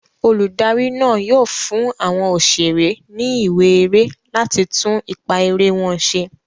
Olùdarí náà yóò fún àwọn òṣèré ní ìwé eré láti tún ipá eré wọn ṣe.